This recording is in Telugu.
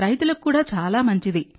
రైతులకు కూడా చాలా మంచిది